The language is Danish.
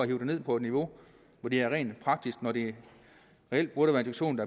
det ned på et niveau hvor det er rent praktisk når det reelt